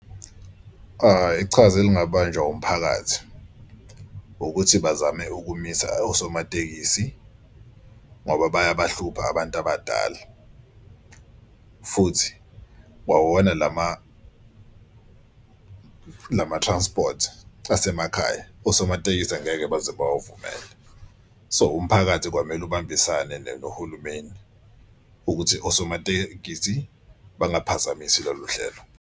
Ichaza elingabanjwa umphakathi ukuthi bazame ukumisa osomatekisi ngoba bayabahlupha abantu abadala. Futhi kwawona lama-transport asemakhaya osomatekisi angeke baze bawuvumele. So umphakathi kwamele ubambisane nohulumeni ukuthi osomatekisi bangaphazamisi lolu hlelo.